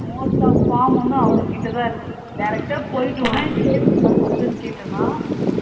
most டா form ஒன்னு அவங்க கிட்ட தான் இருக்கு direct டா போயிட்டு savings account னு கேட்டனா